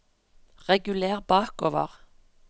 reguler bakover